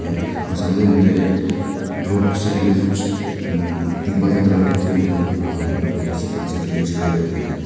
और सामने मुझे एक रोड के साइड में कुछ कुछ देखने को मिल रहा है जो कि सिर्फ फेंसिंग के लिए यूज किया जाता है।